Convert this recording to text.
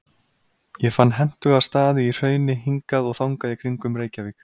Ég fann hentuga staði í hrauni hingað og þangað í kringum Reykjavík.